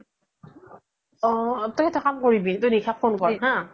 অ তই এটা কাম কৰিবি তই নিশাক phone কৰ হা